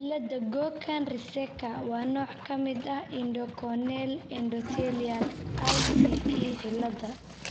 cillada Cogan Reeseka waa nooc ka mid ah Iridocorneal Endothelial (ICE) cilada.